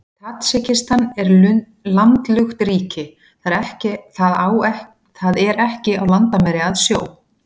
Tadsjikistan er landlukt ríki, það er á ekki landamæri að sjó.